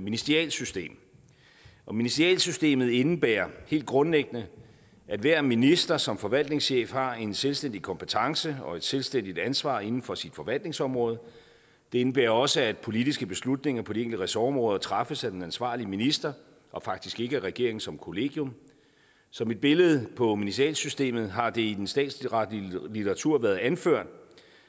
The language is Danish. ministerialsystem og ministerialsystemet indebærer helt grundlæggende at hver minister som forvaltningschef har en selvstændig kompetence og et selvstændigt ansvar inden for sit forvaltningsområde det indebærer også at politiske beslutninger på de enkelte ressortområder træffes af den ansvarlige minister og faktisk ikke af regeringen som kollegium som et billede på ministerialsystemet har det i den statsretlige litteratur været anført